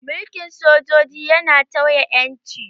Mulkin sojoji yana tauye ƴanci